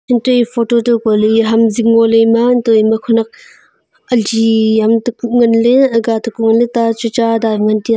antoh e photo toh huko ley e ham zing ngo ley ema antoh ema khenek ali am taku ngan ley aaga taku ngan ley.